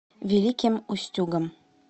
великим устюгом